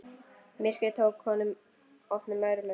Myrkrið tók honum opnum örmum.